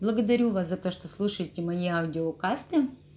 благодарю вас за то что слушаете мои аудиокасты